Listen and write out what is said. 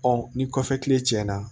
ni kɔfɛ kile na